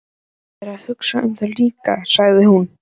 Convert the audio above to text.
Þú hefur verið að hugsa um það líka, sagði hún.